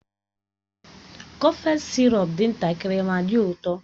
Kọfex sirop dị ntakịrị ma dị ụtọ